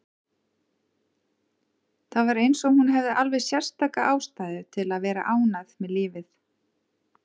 Það var eins og hún hefði alveg sérstaka ástæðu til að vera ánægð með lífið.